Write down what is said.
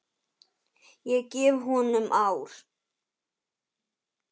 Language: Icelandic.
Ég gef honum ár.